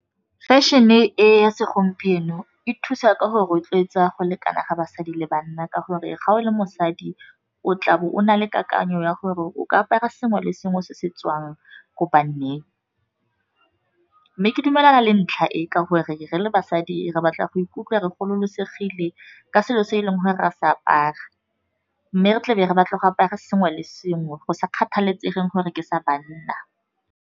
Fashion-e e ya segompieno e thusa ka go rotloetsa go lekana ga basadi le banna, ka gore ga o le mosadi o tlabo o na le kakanyo ya gore o ka apara sengwe le sengwe se se tswang ko banneng. Mme ke dumelana le ntlha e ka gore re le basadi re batla go ikutlwa re gololosegile ka selo se e leng gore ra sa apara, mme re tlabe re batla go apara sengwe le sengwe go sa kgathalesegeng gore ke sa banna.